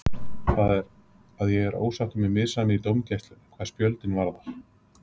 Það er, að ég er ósáttur með misræmið í dómgæslunni, hvað spjöldin varðar.